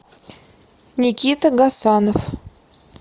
никита гасанов